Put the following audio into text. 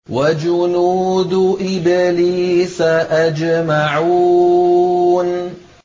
وَجُنُودُ إِبْلِيسَ أَجْمَعُونَ